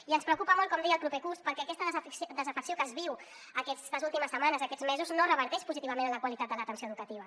i ens preocupa molt com deia el proper curs perquè aquesta desafecció que es viu aquestes últimes setmanes aquests mesos no reverteix positivament en la qualitat de l’atenció educativa